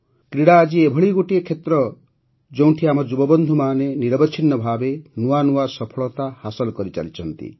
କ୍ରୀଡ଼ା ଆଜି ଏଭଳି ଗୋଟିଏ କ୍ଷେତ୍ର ଯେଉଁଠି ଆମ ଯୁବବନ୍ଧୁମାନେ ନିରବଚ୍ଛିନ୍ନ ଭାବେ ନୂଆ ନୂଆ ସଫଳତା ହାସଲ କରିଚାଲିଛନ୍ତି